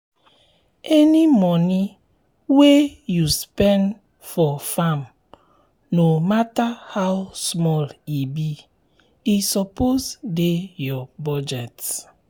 any moni wey u spend for farm no matter how small e be e suppose dey ur budget